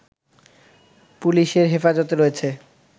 পুলিশের হেফাজতে রয়েছে